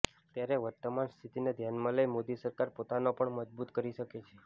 ત્યારે વર્તમાન સ્થીતીને ઘ્યાનમાં લઇ મોદી સરકાર પોતાનો પણ મજબુત કરી શકે છે